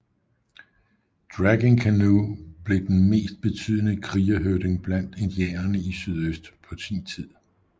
Dragging Canoe blev den mest betydende krigerhøvding blandt indianere i sydøst på sin tid